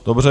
Dobře.